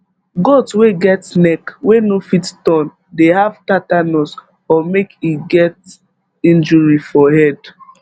goat wey get neck wey no fit turn dey have tatanus or make e get injury for head